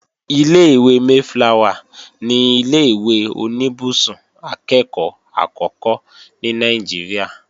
Ilé-ìwé Mayflower ni ilé-ìwé oníbùsùn akẹ́ẹ̀kọ́ àkọ́kọ́ ní Nàìjíríà